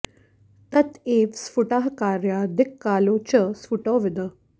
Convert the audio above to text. तत एव स्फुटाः कार्याः दिक्कालौ च स्फुटौ विद